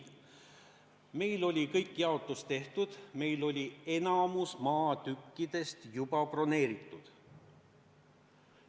Meil oli kogu jaotus tehtud, meil oli enamik maatükke juba broneeritud.